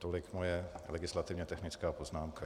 Tolik moje legislativně technická poznámka.